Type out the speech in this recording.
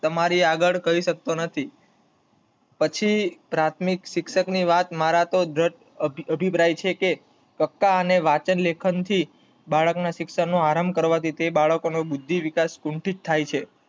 તમારી આગળ કરી શકતો નથી. પછી પ્રાથમિક શિક્ષણ તો અભિપ્રાય છે કે પાક્કા અને વાંચન લેખન થી બાળક ના શિક્ષણ નું આરમ્ભ કરવા થી તે બાળક નો બુદ્ધિવિકાસ કુંઠીત તાહ્ય છે.